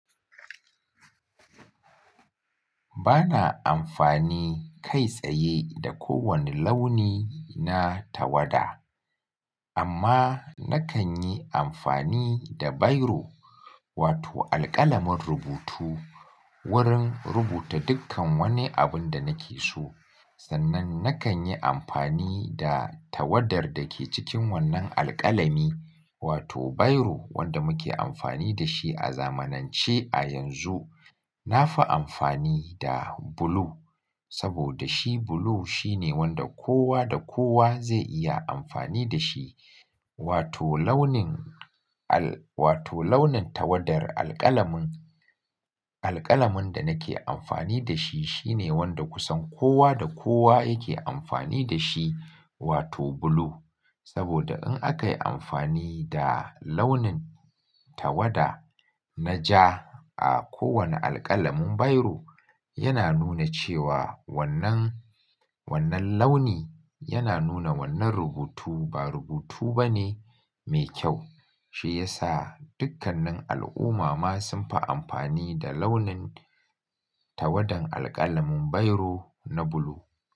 Bana amfani kai tsaye da kowane launi na tawada amma nakan yi amfani da biro wato alƙalamin rubutu wurin rubuta dukkan wani abun da nake so. Sannan nakan yi amfani da tawadar da ke cikin wannan alƙalami wato biro wanda muke amfani da shi a zamanance a yanzu. Na fi amfani da blue saboda shi blue shine wanda kowa da kowa zai iya amfani da shi wato launin al-- wato launin tawadar alƙalamin, alƙalamin da nake amfani da shi shine wanda kusan kowa da kowa yake amfani da shi wato bulu. Saboda in aka yi amfani da launin tawada na ja a kowane alƙalamin biro yana nuna cewa wannan, wannan launi yana nuna wannan rubutu ba rubutu bane mai kyau. Shi ya sa dukkanin al'umma ma sun fi amfani da launin tawadan alƙalamin biro na blue.